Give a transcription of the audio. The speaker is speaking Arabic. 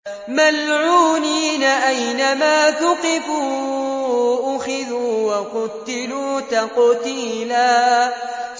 مَّلْعُونِينَ ۖ أَيْنَمَا ثُقِفُوا أُخِذُوا وَقُتِّلُوا تَقْتِيلًا